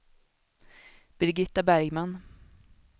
Birgitta Bergman